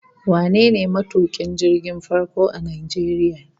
Wane ne matukin jirgin farko a Najeriya?